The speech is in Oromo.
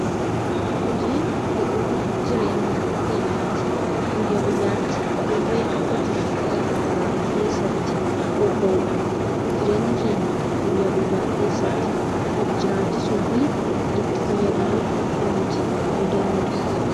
Hojiin bu'uura jireenya keenyaati. Guyya guyyaatti dirree hojii garaa garaa keessatti bobba'uudhaan jireenya keenya guyya guyyaa keessatti of jiraachisuu fi itti fayyadamuu kan nuti dandeenyudha.